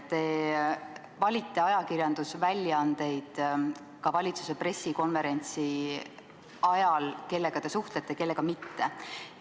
Te valite ajakirjandusväljaandeid ka valitsuse pressikonverentsil – kellega te suhtlete, kellega mitte.